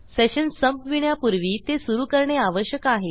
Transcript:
session संपविण्यापूर्वी ते सुरू करणे आवश्यक आहे